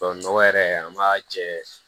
Tubabu nɔgɔ yɛrɛ an b'a jɛ